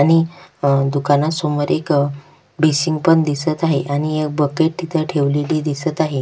आणि अ दुकानासमोर एक बेसिन पण दिसत आहे आणि बकेट तिथे ठेवलेली दिसत आहे.